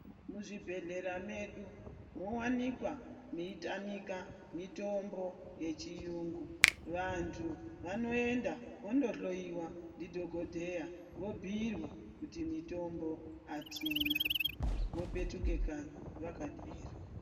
Muzvibhedhlera mwedu mowanikwa mweitamika mitombo yechiyungu. Vantu vanoenda vandohloiwa ndidhogodheya, vobhuirwa ku mitombo kuti mitombo atina, vopetuka kanyi vakanyarara.